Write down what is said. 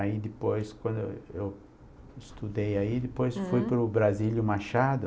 Aí depois, quando eu eu estudei aí, depois fui para o Brasílio Machado.